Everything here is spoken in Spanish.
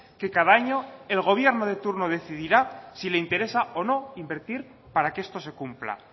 que cada año el gobierno de turno decidirá si le interesa o no invertir para que esto se cumpla